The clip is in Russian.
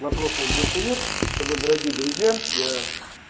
вопросов больше нет тогда дорогие друзья я